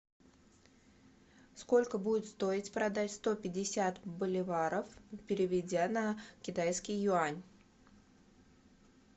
сколько будет стоить продать сто пятьдесят боливаров переведя на китайский юань